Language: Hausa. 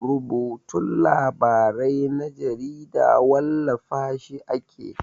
Rubutun labarai na jarida wallafa shi ake.